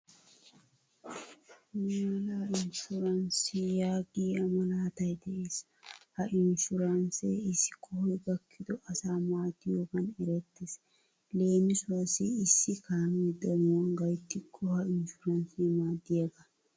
"Niyala inshuranssiyaa" yaagiyaa malaatay de'ees. Ha inshuranse issi qohoy gakkido asa maaddiyogan erettees. Leemisuwassi issi kaame danuwan gayttiko ha inshuranse maaddiyaga.